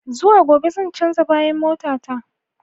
Zuwa gobe zan canza bayan mota ta.